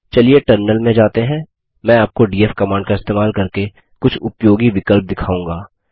चलिए टर्मिनल में जाते हैं मैं आपको डीएफ कमांड का इस्तेमाल करके कुछ उपयोगी विकल्प दिखाऊँगा